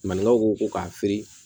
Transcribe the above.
Maninkaw ko k'a fin